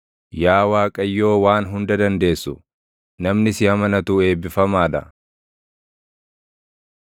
Yaa Waaqayyoo Waan Hunda Dandeessu, namni si amanatu eebbifamaa dha.